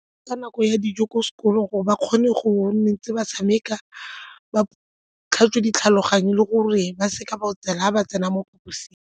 Ka nako ya dijo ko sekolong gore ba kgone go nne tse ba tshameka, ba tlhatswe ditlhaloganyo le gore ba seka ba otsela ga ba tsena mo phaposing.